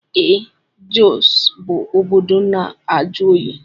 Ee Jọs bụ obodo na-ajụ oyi.